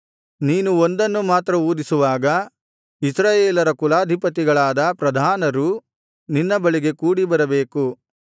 ನೀನು ಒಂದನ್ನು ಮಾತ್ರ ಊದಿಸುವಾಗ ಇಸ್ರಾಯೇಲರ ಕುಲಾಧಿಪತಿಗಳಾದ ಪ್ರಧಾನರು ನಿನ್ನ ಬಳಿಗೆ ಕೂಡಿಬರಬೇಕು